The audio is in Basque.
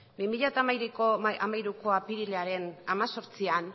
bi mila hamairuko apirilaren hemezortzian